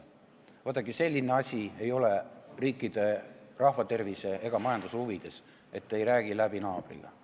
Vaadake, selline asi ei ole riikide, rahva tervise ega majanduse huvides, et ei räägita naabriga läbi.